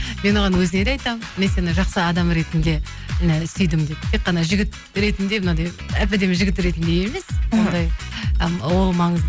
мен оған өзіне де айтамын мен сені жақсы адам ретінде жаңа сүйдім деп тек қана жігіт ретінде мынадай әп әдемі жігіт ретінде емес ондай ол